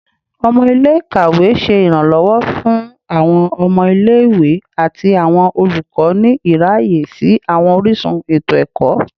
Ọmọ ile-ikawe ṣe iranlọwọ fun awọn ọmọ ile-iwe ati awọn olukọ ni iraye si awọn orisun eto-ẹkọ